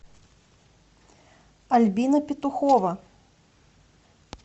альбина петухова